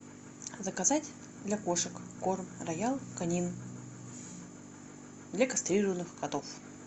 заказать для кошек корм роял канин для кастрированных котов